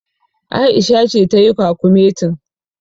Aisha ce tayi kwakumetin.